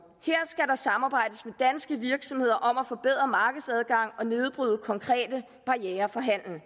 her samarbejdes med danske virksomheder om at forbedre markedsadgangen og nedbryde konkrete barrierer for handel